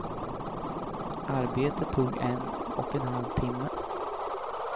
Arbetet tog en och en halv timme.